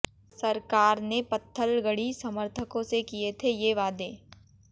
सरकार ने पत्थलगड़ी समर्थकों से किए थे ये वादे